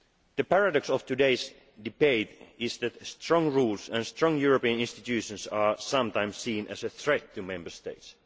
Method. The paradox of today's debate is that strong rules and strong European institutions are sometimes seen as a threat to Member